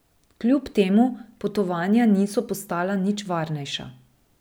Kljub temu potovanja niso postala nič varnejša.